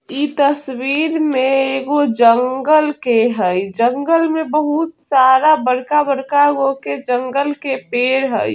इ तस्वीर में एगो जंगल के हेय जंगल में बहुत सारा बड़का-बड़का गो के जंगल के पेड़ हेय।